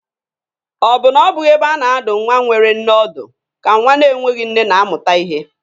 Ọ bụ na ọ bụghị ebe a na-adụ nwa nwere nne ọdụ ka nwa na-enweghị nne na-amụta ihe?